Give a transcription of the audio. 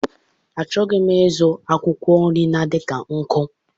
Achọghị m ịzụ akwụkwọ nri na-adị ka nkụ.